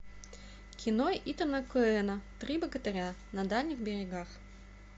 кино итана коэна три богатыря на дальних берегах